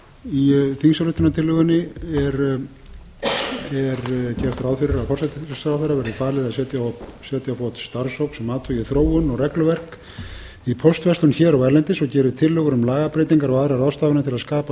það í þingsályktunartillögunni er gert ráð fyrir að forsætisráðherra verði falið að setja á fót starfshóp sem athugi þróun og regluverk í póstverslun hér og erlendis og geri tillögur um lagabreytingar og aðrar ráðstafanir til að skapa